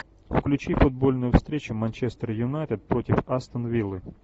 включи футбольную встречу манчестер юнайтед против астон виллы